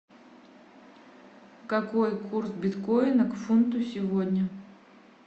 какой курс биткоина к фунту сегодня